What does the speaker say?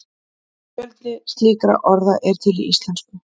fjöldi slíkra orða er til í íslensku